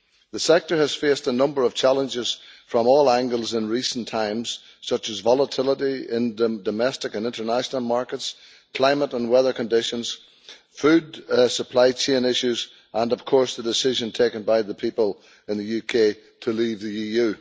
The sector has faced a number of challenges from all angles in recent times, such as volatility in domestic and international markets, climate and weather conditions, food supply chain issues and, of course, the decision taken by the people in the UK to leave the EU.